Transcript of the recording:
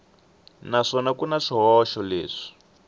naswona ku na swihoxo leswi